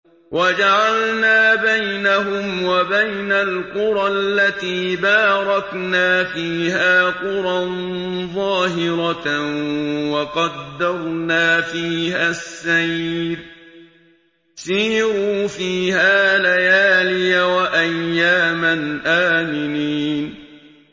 وَجَعَلْنَا بَيْنَهُمْ وَبَيْنَ الْقُرَى الَّتِي بَارَكْنَا فِيهَا قُرًى ظَاهِرَةً وَقَدَّرْنَا فِيهَا السَّيْرَ ۖ سِيرُوا فِيهَا لَيَالِيَ وَأَيَّامًا آمِنِينَ